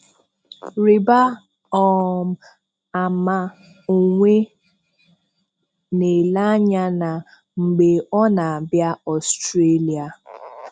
Rị̀bà um àmà onwe: Na-ele ànyà ya mgbe ọ na-abìà Australia.